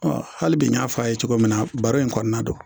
hali bi n y'a fɔ a ye cogo min na baro in kɔnɔna na